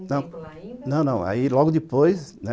não, não, aí logo depois